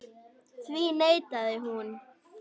Því neitaði hún.